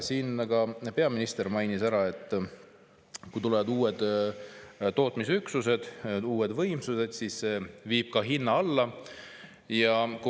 Siin ka peaminister mainis ära, et kui tulevad uued tootmisüksused, uued võimsused, siis see viib hinna alla.